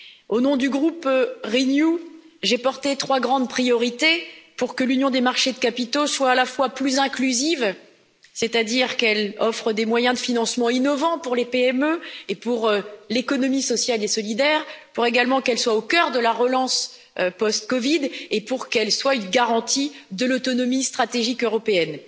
Au nom du groupe Renew, j'ai porté trois grandes priorités pour que l'union des marchés de capitaux soit à la fois plus inclusive, c'est à dire qu'elle offre des moyens de financements innovants pour les PME et pour l'économie sociale et solidaire, pour également qu'elle soit au cœur de la relance post COVID et pour qu'elle soit une garantie de l'autonomie stratégique européenne.